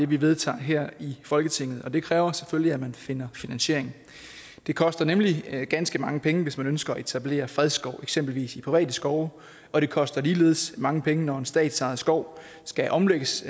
vi vedtager her i folketinget og det kræver selvfølgelig at man finder finansiering det koster nemlig ganske mange penge hvis man ønsker at etablere fredskov i eksempelvis private skove og det koster ligeledes mange penge når en statsejet skov skal omlægges